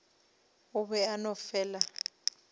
o be a no fela